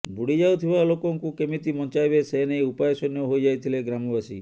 ବୁଡ଼ି ଯାଉଥିବା ଲୋକଙ୍କୁ କେମିତି ବଞ୍ଚାଇବେ ସେନେଇ ଉପାୟଶୂନ୍ୟ ହୋଇଯାଇଥିଲେ ଗ୍ରାମବାସୀ